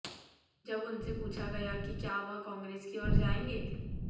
जब उनसे पूछा गया कि क्या वह कांग्रेस की ओर जाएंगे